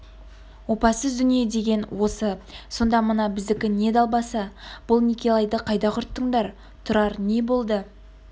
опасыз дүние деген осы сонда мына біздікі не далбаса бұл некелайды қайда құрттыңдар тұрар не болды